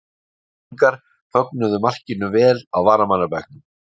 Grindvíkingar fögnuðu markinu vel á varamannabekknum.